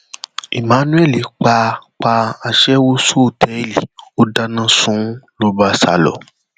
emmanuel pa pa aṣẹwó sọtẹẹlì ó dáná sun ún ló bá sá lọ